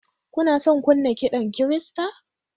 Kuna son kunna kiɗan Kirista?